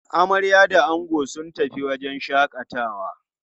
Amarya da ango sun tafi wajen shaƙatawa.